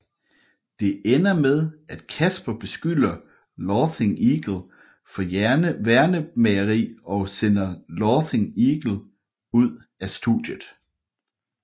Det ender med at Casper beskylder Laughing Eagle for værnemageri og sender Laughing Eagle ud af studiet